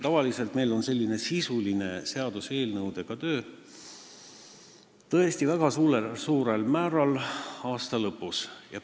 Tavaliselt toimub meil selline sisuline töö seaduseelnõudega, tõesti, väga suurel määral aasta lõpus.